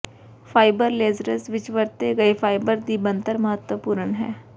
fibre lasers ਵਿੱਚ ਵਰਤੇ ਗਏ ਫਾਈਬਰ ਦੀ ਬਣਤਰ ਮਹੱਤਵਪੂਰਨ ਹੈ